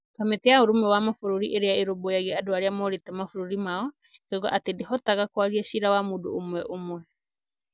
Kamĩtĩ ya Ũrũmwe wa Mabũrũri Ĩrĩa Ĩrũmbũyagia Andũ arĩa morĩte mabũrũri yao ĩkoiga atĩ ndĩhotaga kwaria cira wa mũndũ ũmwe ũmwe